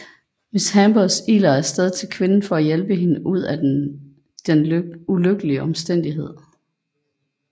Miss Hambers iler af sted til kvinden for at hjælpe hende ud af den ulykkelige omstændighed